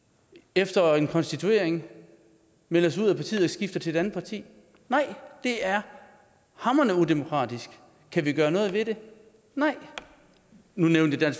efter en konstituering melder sig ud af partiet og skifter til et andet parti nej det er hamrende udemokratisk kan vi gøre noget ved det nej nu nævnte jeg